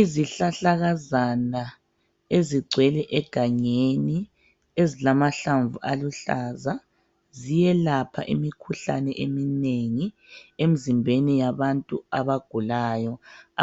Izihlahlakazana ezigcwele egangeni ezilamahlamvu aluhlaza ziyelapha imikhuhlane eminengi emzimbeni yabantu abagulayo